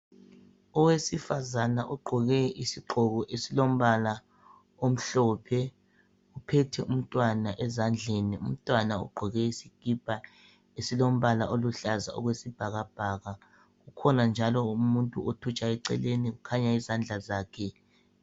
Owesifazana ogqoke isigqoko esilombala omhlophe, uphethe umntwana ezandleni umntwana ugqoke isikipa esilombala oluhlaza okwesibhakabhaka. Kukhona njalo umuntu othutshayo eceleni kukhanya izandla zakhe.